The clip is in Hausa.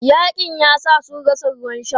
Yaƙin yasa sun rasa ruwan sha.